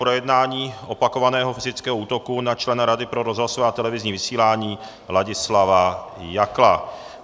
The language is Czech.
Projednání opakovaného fyzického útoku na člena Rady pro rozhlasové a televizní vysílání Ladislava Jakla